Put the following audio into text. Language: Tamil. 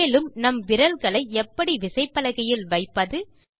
மேலும் நம் விரல்களை எப்படி விசைபலகையில் வைப்பது